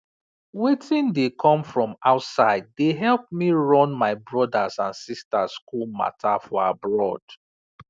wetin dey come from outside dey help me run my brothers and sisters school matter for abroad